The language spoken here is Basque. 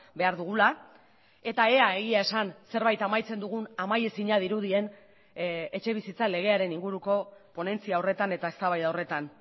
behar dugula eta ea egia esan zerbait amaitzen dugun amaiezina dirudien etxebizitza legearen inguruko ponentzia horretan eta eztabaida horretan